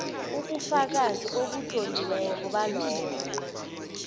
ubufakazi obutloliweko balokho